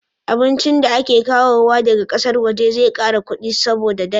Abincin da ake kawowa daga ƙasar waje zai kara kudi saboda da dala